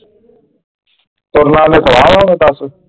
ਤੁਰਨਾ ਉਹਨੇ ਸਵਾ ਵਾ ਹੁਣ ਦੱਸ।